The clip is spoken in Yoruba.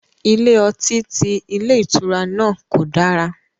Ilé ọtí ti ilé ìtura náà kò dára